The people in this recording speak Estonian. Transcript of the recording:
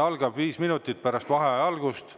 algab viis minutit pärast vaheaja algust.